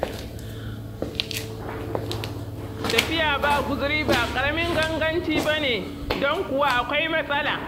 Tafiya ba guzuri ba ƙaramin ganganci ba ne don kuwa akwai matsala.